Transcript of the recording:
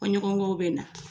Fɔɲɔgɔnkɔw bɛ na